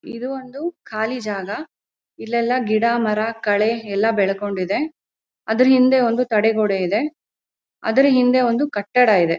ಇದು ಒಂದು ಖಾಲಿ ಜಾಗ ಇಲ್ಲೆಲ್ಲ ಗಿಡ ಮರ ಕಳೆ ಎಲ್ಲ ಬೆಳಕೊಂಡಿದೆ ಅದರ ಹಿಂದೆ ಒಂದು ತಡೆಗೋಡೆ ಇದೆ ಅದರ ಹಿಂದೆ ಒಂದು ಕಟ್ಟಡ ಇದೆ.